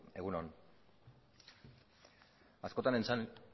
egun on